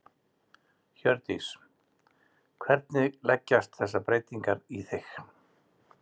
Hjördís: Hvernig leggjast þessar breytingar í þig?